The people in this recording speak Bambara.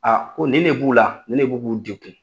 ko nin ne b'u la, nin ne b'u k'u dekun.